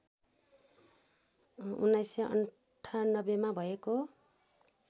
१९९८ मा भएको